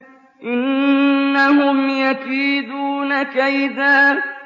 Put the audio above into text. إِنَّهُمْ يَكِيدُونَ كَيْدًا